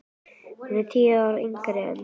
Hún er tíu árum yngri en